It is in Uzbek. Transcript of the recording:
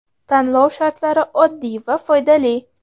Tanlov shartlari oddiy va foydali:.